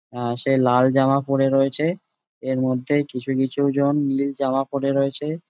সে লাল জামা পরে রয়েছে এর মধ্যে কিছু কিছু জন নীল জামা পরে রয়েছে।